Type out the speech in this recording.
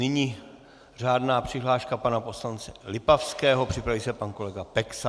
Nyní řádná přihláška pana poslance Lipavského, připraví se pan kolega Peksa.